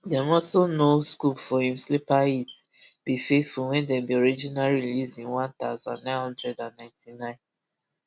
dem also know scoop for im sleeper hit be faithful wey dem bin originally release in one thousand, nine hundred and ninety-nine